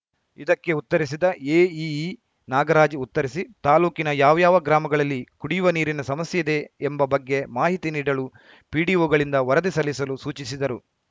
ಇದಕ್ಕೆ ಉತ್ತರಿಸಿದ ಎಇಇ ನಾಗರಾಜ್‌ ಉತ್ತರಿಸಿ ತಾಲೂಕಿನ ಯಾವ್ಯಾವ ಗ್ರಾಮಗಳಲ್ಲಿ ಕುಡಿಯುವ ನೀರಿನ ಸಮಸ್ಯೆಯಿದೆ ಎಂಬ ಬಗ್ಗೆ ಮಾಹಿತಿ ನೀಡಲು ಪಿಡಿಒಗಳಿಂದ ವರದಿ ಸಲ್ಲಿಸಲು ಸೂಚಿಸಿದರು